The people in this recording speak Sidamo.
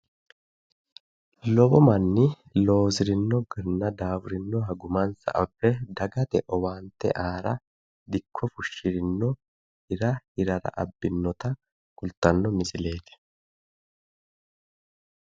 lowo manni loosinohanna daafurinoha gumansa abbe dagate owaante aara dikko fushshirinno hira hirara abbinota kultanno misileeti.